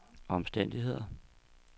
omstændigheder